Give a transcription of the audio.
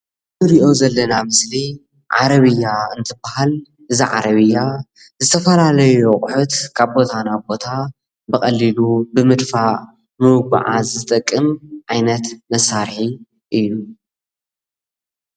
ንሪኦ ዘለና ምስሊ ዓረብያ እንትበሃል እዛ ዓረብያ ዝተፈላለዪ አቁሑት ካብ ቦታ ናብ ቦታ ብቀሊሉ ብምድፍእ ንምጉዕዓዝ ዝጠቅም ዓይነት መሳርሒ እዪ ።